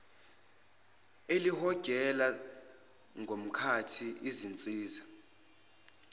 elihogela ngomkhathi izinzisa